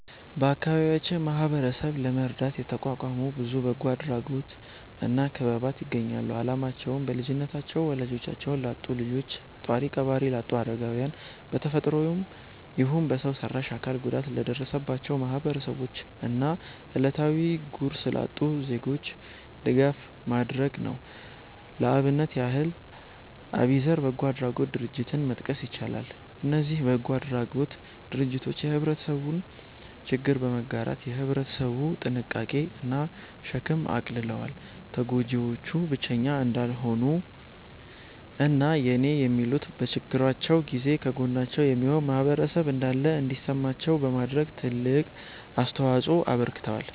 በአከባቢያችን ማህበረሰብን ለመርዳት የተቋቋሙ ብዙ በጎ አድራጎት እና ክበባት ይገኛሉ። አላማቸውም: በልጅነታቸው ወላጆቻቸውን ላጡ ልጆች፣ ጧሪ ቀባሪ ላጡ አረጋውያን፣ በ ተፈጥሮም ይሁን በሰው ሰራሽ አካል ጉዳት ለደረሰባቸው ማህበረሰቦች እና እለታዊ ጉርስ ላጡ ዜጎች ድጋፍ ማድረግ ነው። ለአብነት ያህል አቢዘር በጎ አድራጎት ድርጀትን መጥቀስ ይቻላል። እነዚ በጎ አድራጎት ድርጅቶች የህብረተሰቡን ችግር በመጋራት የ ህብረተሰቡን ጭንቀት እና ሸክም አቅልለዋል። ተጎጂዎቹ ብቸኛ እንዳልሆኑ እና የኔ የሚሉት፤ በችግራቸው ጊዜ ከጎናቸው የሚሆን ማህበረሰብ እንዳለ እንዲሰማቸው በማድረግ ትልቅ አስተዋጽኦ አበርክተዋል።